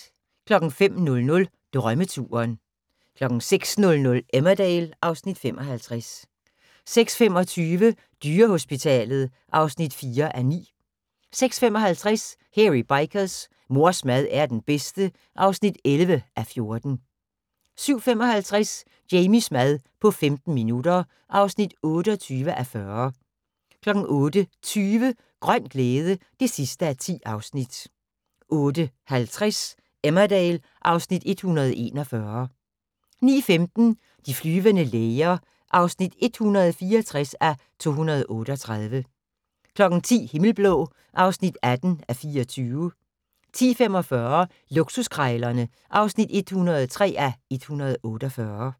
05:00: Drømmeturen 06:00: Emmerdale (Afs. 55) 06:25: Dyrehospitalet (4:9) 06:55: Hairy Bikers: Mors mad er den bedste (11:14) 07:55: Jamies mad på 15 minutter (28:40) 08:20: Grøn glæde (10:10) 08:50: Emmerdale (Afs. 141) 09:15: De flyvende læger (164:238) 10:00: Himmelblå (18:24) 10:45: Luksuskrejlerne (103:148)